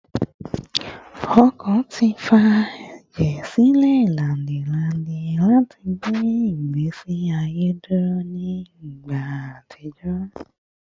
Ọkàn ti fa ẹjẹ silẹ lainidii lati gbe igbesi aye duro ni igba atijọ